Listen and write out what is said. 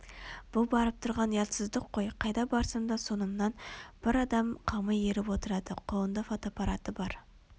бұл барып тұрған ұятсыздық қой Қайда барсам да соңымнан бір адым қалмай еріп отырады қолында фотоаппараты бар